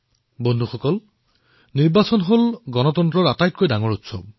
বন্ধুসকল নিৰ্বাচন হল গণতন্ত্ৰৰ আটাইতকৈ ডাঙৰ উৎসৱ